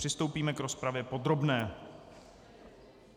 Přistoupíme k rozpravě podrobné.